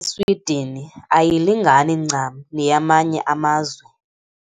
Swidini ayilingani ncam neyamanye amazwe.